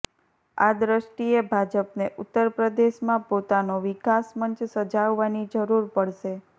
આ દૃષ્ટિએ ભાજપને ઉત્તર પ્રદેશમાં પોતાનો વિકાસ મંચ સજાવવાની જરૂર પડશે